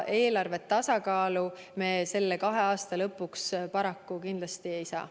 Eelarvet tasakaalu me selle kahe aasta lõpuks paraku kindlasti ei saa.